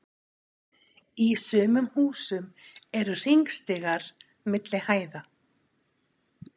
Í sumum húsum eru hringstigar milli hæða.